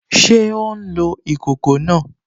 Ṣé ó n lo ìkòkò náà?